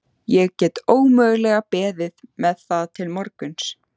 Ég get ómögulega beðið með það til morguns.